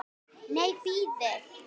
Nei, bíðið.